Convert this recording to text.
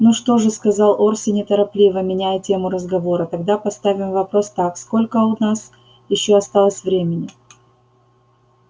ну что же сказал орси неторопливо меняя тему разговора тогда поставим вопрос так сколько у нас ещё осталось времени